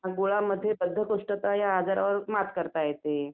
गुळामुळे बद्धकोष्ठता या रोगावरती मात करता येते.